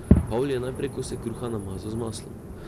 Pavli je najprej kose kruha namazal z maslom.